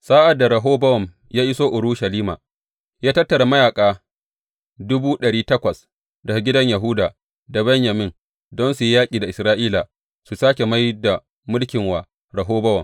Sa’ad da Rehobowam ya iso Urushalima, ya tattara mayaƙa dubu ɗari takwas daga gidan Yahuda da Benyamin, don su yi yaƙi da Isra’ila su sāke mai da mulki wa Rehobowam.